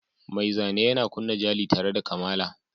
Mai zane yana kunna jali tare da kamala.